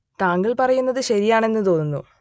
താങ്കൾ പറയുന്നത് ശരിയാണ് എന്ന് തോന്നുന്നു